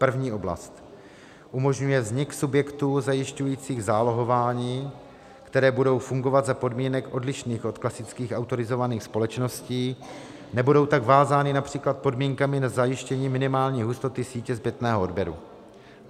První oblast - umožňuje vznik subjektů zajišťujících zálohování, které budou fungovat za podmínek odlišných od klasických autorizovaných společností, nebudou tak vázány například podmínkami na zajištění minimální hustoty sítě zpětného odběru.